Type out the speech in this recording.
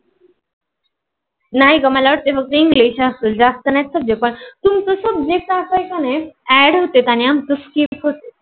नाही ग मला वाटत फक्त english असत. जास्त नाहीन subject असत. तुमच सब्जेक्ट की नाही add होते की नाही आमच skip होत.